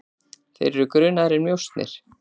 Þeir eru grunaðir um njósnir.